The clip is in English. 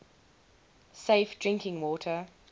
safe drinking water